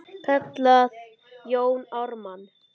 kallaði Jón Ármann.